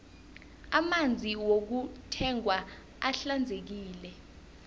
amanzi wokuthengwa ahlanzekile